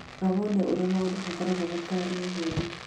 Rora wone ũrĩa maũndũ magaakorũo matariĩ ũmũthĩ